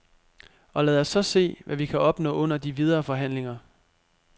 Og lad os så se, hvad vi kan opnå under de videre forhandlinger.